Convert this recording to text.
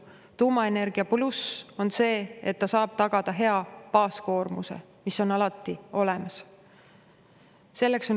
Tuumaenergia pluss on see, et ta saab tagada hea baaskoormuse, mis on alati olemas.